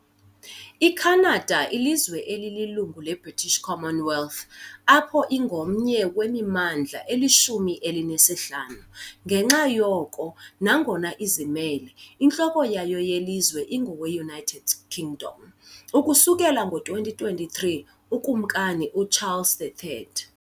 IKhanada lilizwe elililungu leBritish Commonwealth, apho ingomnye wemimandla elishumi elinesihlanu- ngenxa yoko, nangona izimele, intloko yayo yelizwe ingowe-United Kingdom, ukusukela ngo-2023 uKumkani uCharles III .